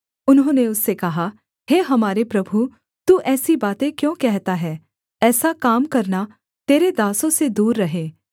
उन्होंने उससे कहा हे हमारे प्रभु तू ऐसी बातें क्यों कहता है ऐसा काम करना तेरे दासों से दूर रहे